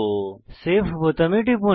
save বোতামে টিপুন